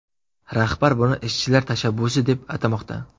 Rahbar buni ishchilar tashabbusi deb atamoqda.